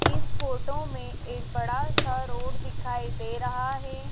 इस फोटो में एक बड़ा सा रोड दिखाई दे रहा हैं।